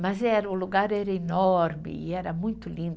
Mas era, o lugar era enorme e era muito lindo.